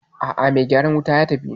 A'a mai gyaran wutan ya tafi